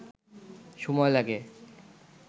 সময় লাগে